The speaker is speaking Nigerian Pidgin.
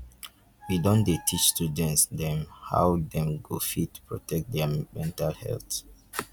we don dey teach student dem how dem go fit protect their mental health.